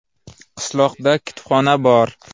Qishloqda kutubxona bor.